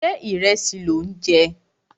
Ṣé ìrẹsì lò ń jẹ?